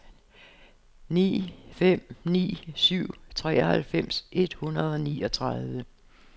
ni fem ni syv treoghalvfems et hundrede og niogtredive